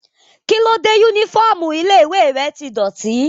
Kíló dé yúnífọ́ọ̀mù ilé-ìwé rẹ tí dọ̀ọ̀tí?